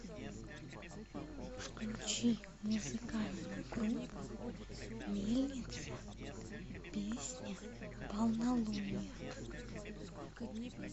включи музыкальную группу мельница песня полнолуние